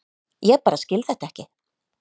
Ég bara skil þetta ekki.